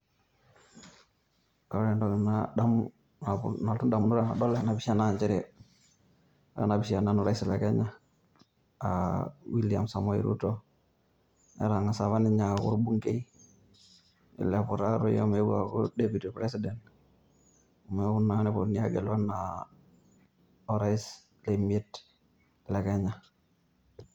Ore entoki nadamu nalotu indamunot tenadol ena pisha, injere ore ena pisha enorais le Kenya, aa William samoei ruto. Netang'asa apa ninye aaku olbungei nilepu taatoi omeou aaku President neeku naa neponunui aagelu enaa orais le miet le Kenya.